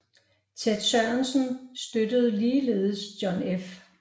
Ted Sorensen støttede ligeledes John F